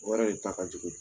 O yɛrɛ de ta kajugu.